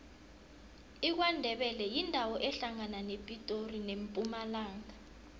ikwandebele yindawo ehlangana nepitori nempumalanga